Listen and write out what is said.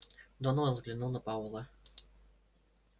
донован взглянул на пауэлла